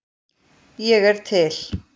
Ég er til.